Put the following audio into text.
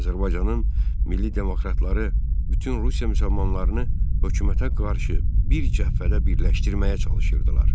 Azərbaycanın milli demokratları bütün Rusiya müsəlmanlarını hökumətə qarşı bir cəbhədə birləşdirməyə çalışırdılar.